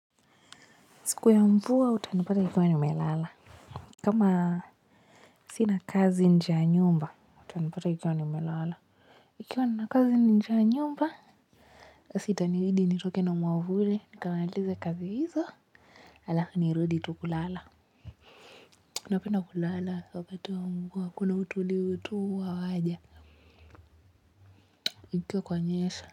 Siku ya mvua, utanipata nikiwa nimelala. Kama sina kazi nje ya nyumba, utanipata nikiwa nimelala. Nikiwa na kazi nje ya nyumba basi itanibidi nitoke na mwavuli nikamalize kazi hizo halafu, nirudi tu kulala. Napenda kulala, wakati wa mvua, kuna utulivu tu huwa waja, kukiwa kwa nyesha.